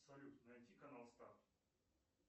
салют найти канал старт